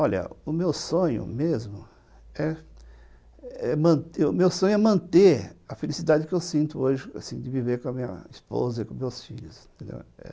Olha, o meu sonho mesmo é manter a felicidade que eu sinto hoje de viver com a minha esposa e com meus filhos.